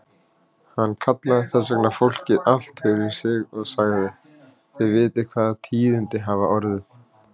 Hann kallaði þess vegna fólkið allt fyrir sig og sagði:-Þið vitið hvaða tíðindi hafa orðið.